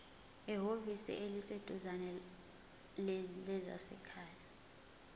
ehhovisi eliseduzane lezasekhaya